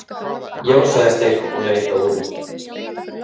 Já, sagði Steinn og leit á úrið.